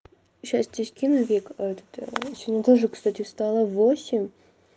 сейчас тебе скину вика этот сегодня тоже кстати встала в восемь